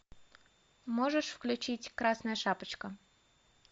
можешь включить красная шапочка